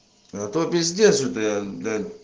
зато пиздец что то я